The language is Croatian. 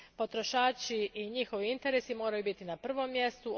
Potrošači i njihovi interesi moraju biti na prvom mjestu.